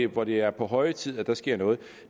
hvor det er på høje tid at der sker noget